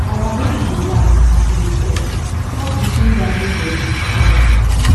our baby dey laugh as e dey crawl crawl between garden bed um